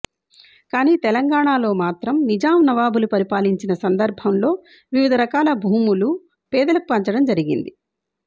కానీ తెలంగాణలో మాత్రం నిజాం నవాబులు పరిపాలించిన సందర్భం లో వివిధ రకాల భూములు పేదలకు పంచడం జరిగింది